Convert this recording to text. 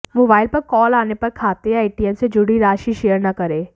mobile पर call आने पर खाते या एटीएम से जुड़ी राशि शेयर न करें